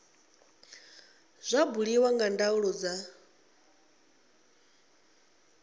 zwa buliwa nga ndaulo dza